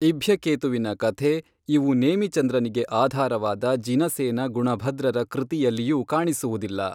ಇಭ್ಯಕೇತುವಿನ ಕಥೆ ಇವು ನೇಮಿಚಂದ್ರನಿಗೆ ಆಧಾರವಾದ ಜಿನಸೇನ ಗುಣಭದ್ರರ ಕೃತಿಯಲ್ಲಿಯೂ ಕಾಣಿಸುವುದಿಲ್ಲ.